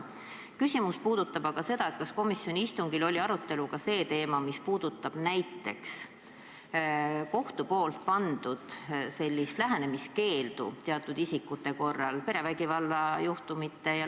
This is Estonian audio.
Mu küsimus puudutab aga seda, kas komisjoni istungil oli arutelul ka see teema, mis puudutab kohtu pandud lähenemiskeeldu, kui tegu on perevägivalla juhtumitega?